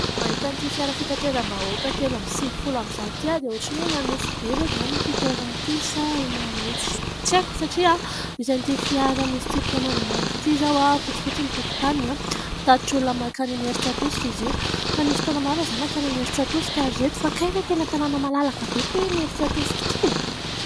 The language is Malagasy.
Mahita an'ity fiara fitateram-bahoaka telo amby sivifolo amin'ny zato ity aho dia ohatran'ny hoe eny Anosibe ve izany ity toerana ity sa eny Anosy ? Tsy aiko satria misy an'ity fiara misy tsipika mangamanga ity izao, fotsifotsy ny tokotaniny, mpitatitra olona makany Imerintsiatosika izy io. Fa nisy fotoana marina izaho nakany Imerintsiatosika ry ireto fa kay ve tena tanàna malalaka be ity hoe Imerintsiatosika ity e !